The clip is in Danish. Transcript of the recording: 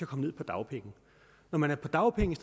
komme ned på dagpenge når man er på dagpenge